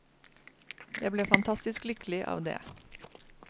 Jeg ble fantastisk lykkelig av det.